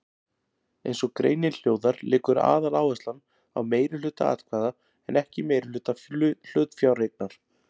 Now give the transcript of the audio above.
Eins og greinin hljóðar liggur aðaláherslan á meirihluta atkvæða en ekki meirihluta hlutafjáreignar.